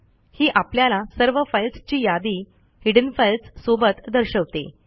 ही आपल्याला सर्व फाईल्सची यादी हिडेन फाइल्स सोबत दर्शवते